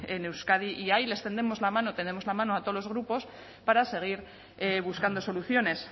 en euskadi y ahí les tendemos la mano tendemos la mano a todos los grupos para seguir buscando soluciones